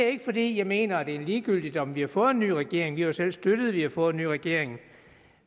ikke fordi jeg mener det er ligegyldigt om vi har fået en ny regering vi har jo selv støttet at vi har fået ny regering